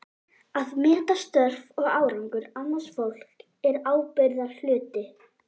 Að meta störf og árangur annars fólks er ábyrgðarhluti.